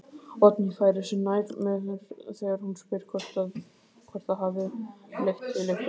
Oddný færir sig nær mér þegar hún spyr hvort það hafi leitt til einhvers.